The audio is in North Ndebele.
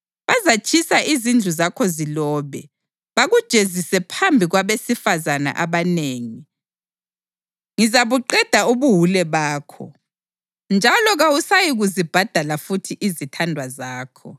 Bazatshisa izindlu zakho zilobe, bakujezise phambi kwabesifazane abanengi. Ngizabuqeda ubuwule bakho, njalo kawusayikuzibhadala futhi izithandwa zakho.